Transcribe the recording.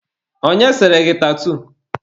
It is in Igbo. Onye sere gị tatuu?